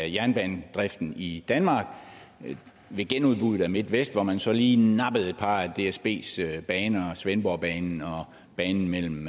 jernbanedriften i danmark ved genudbuddet af midt vest hvor man så lige nappede et par af dsbs baner svendborgbanen og banen mellem